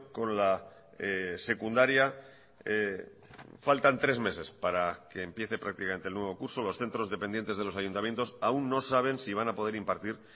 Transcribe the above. con la secundaria faltan tres meses para que empiece prácticamente el nuevo curso los centros dependientes de los ayuntamientos aún no saben si van a poder impartir